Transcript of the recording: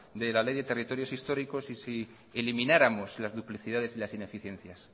de la ley de territorios históricos y si elimináramos las duplicidades y las ineficiencias